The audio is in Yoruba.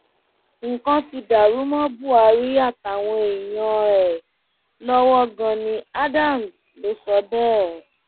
nǹkan ti dàrú mọ buhari àtàwọn èèyàn ẹ lọwọ gani adams ló sọ bẹẹ